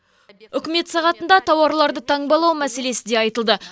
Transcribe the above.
үкімет сағатында тауарларды таңбалау мәселесі де айтылды